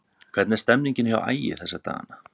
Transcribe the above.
Hvernig er stemningin hjá Ægi þessa dagana?